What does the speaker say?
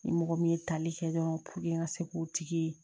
Ni mɔgɔ min ye tali kɛ dɔrɔn n ka se k'o tigi ye